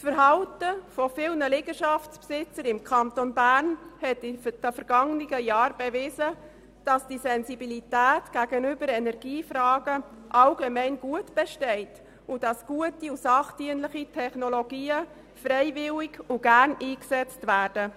Das Verhalten von vielen Liegenschaftseigentümern im Kanton Bern hat in den vergangenen Jahren bewiesen, dass allgemein eine Sensibilität gegenüber Energiefragen besteht und gute und sachdienliche Technologien freiwillig und gerne eingesetzt werden.